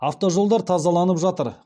автожолдар тазаланып жатыр